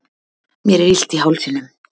mér er illt í hálsinum